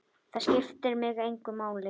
Það skiptir mig engu máli.